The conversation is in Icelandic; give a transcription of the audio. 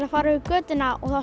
að fara yfir götuna og